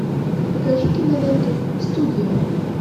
покажи киноленту студия